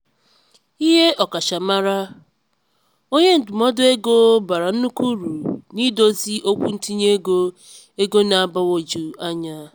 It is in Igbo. ihe ọkachamara onye ndụmọdụ ego bara nnukwu uru n'ịdozi okwu ntinye ego ego na-agbagwoju anya.